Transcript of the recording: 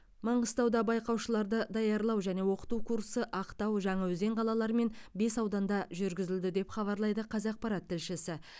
маңғыстауда байқаушыларды даярлау және оқыту курсы ақтау жаңаөзен қалалары мен бес ауданда жүргізілді деп хабарлайды қазақпарат тілшісі